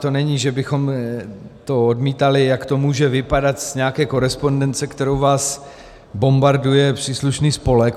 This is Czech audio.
To není, že bychom to odmítali, jak to může vypadat z nějaké korespondence, kterou vás bombarduje příslušný spolek.